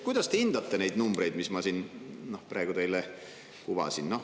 Kuidas te hindate neid numbreid, mis ma siin praegu teile kuvasin?